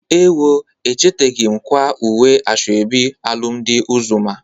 Ewo! Echeteghi m kwaa uwe asoebi alụmdị Ụzọma.